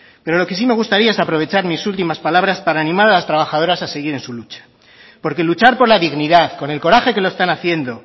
pero lo que sí me gustaría es aprovechar mis últimas palabras para animar a las trabajadoras a seguir en su lucha porque luchar por la dignidad con el coraje que lo están haciendo